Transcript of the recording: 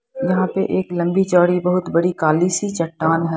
यहां पे एक लंबी चौड़ी बहुत बड़ी काली सी चट्टान है।